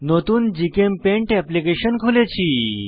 নতুন GChemPaint application খুলেছি